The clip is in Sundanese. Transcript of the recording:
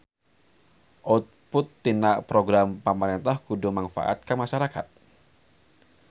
Output tina program pamarentah kudu mangfaat ka masarakat